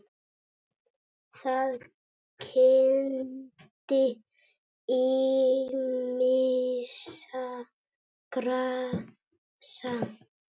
Það kenndi ýmissa grasa